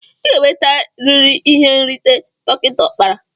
Iga enwete riri ihe nrita dika okpara!!